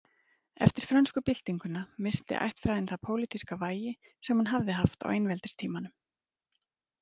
Eftir frönsku byltinguna missti ættfræðin það pólitíska vægi sem hún hafði haft á einveldistímanum.